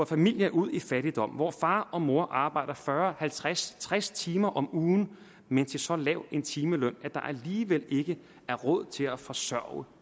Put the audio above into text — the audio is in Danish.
familier ud i fattigdom hvor far og mor arbejder fyrre halvtreds tres timer om ugen men til så lav en timeløn at alligevel ikke er råd til at forsørge